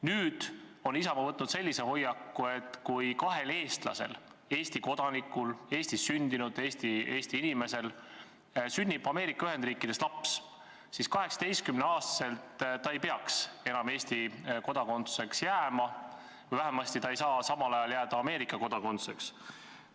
Nüüd on Isamaa võtnud sellise hoiaku, et kui kahel eestlasel, Eesti kodanikul, Eestis sündinud Eesti inimesel sünnib Ameerika Ühendriikides laps, siis 18-aastaselt ei peaks ta enam Eesti kodanikuks jääma või vähemasti ei saa ta samal ajal jääda Ameerika kodanikuks.